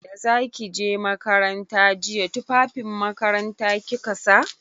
Da za ki je makaranta jiya tufafin makaranta kika sa?